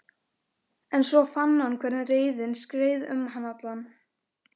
Mamma, hættu þessu rugli sagði Drífa angistarfull.